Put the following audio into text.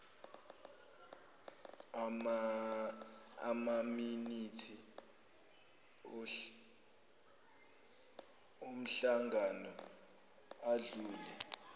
amaminithi omhlangano odlule